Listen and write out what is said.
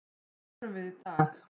Förum við í dag?